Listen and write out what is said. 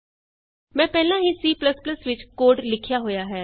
ਮੈਂ ਪਹਿਲਾਂ ਹੀ C ਵਿਚ ਕੋਡ ਲਿਖਿਆ ਹੋਇਆ ਹੈ